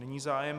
Není zájem.